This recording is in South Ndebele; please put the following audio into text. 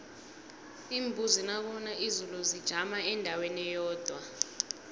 iimbuzi nakuna izulu zijama endaweni eyodwa